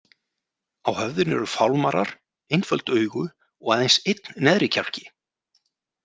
Á höfðinu eru fálmarar, einföld augu og aðeins einn neðri kjálki.